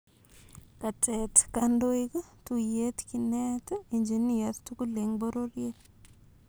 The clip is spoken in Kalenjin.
Katet kandoik tuyet kineet engineers tugul en pororyeet